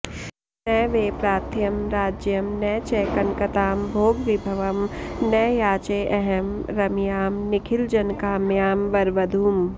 न वै प्रार्थ्यं राज्यं न च कनकतां भोगविभवं न याचेऽहं रम्यां निखिलजनकाम्यां वरवधूं